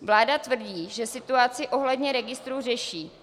Vláda tvrdí, že situaci ohledně registrů řeší.